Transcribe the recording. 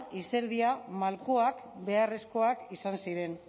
izerdia eta malkoak beharrezkoak izan ziren